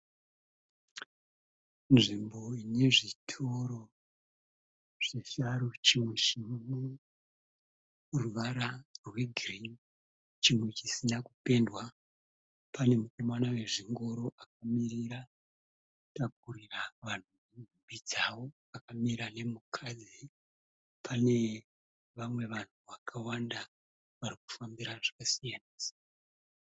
Nzvimbo inezvitoro zvisharu chimwe chineruvara rwegirini chimwe chisina kupendwa. Pane mukomana wezvingoro akamirira kutakurira vanhu nhumbi dzavo, akamira nemukadzi. Pane vamwe vanhu vakawanda varikufambira zvakasiyana-siyana.